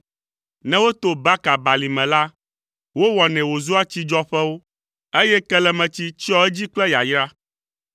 Ne woto Baka Balime la, wowɔnɛ wòzua tsidzɔƒewo, eye kelemetsi tsyɔa edzi kple yayra.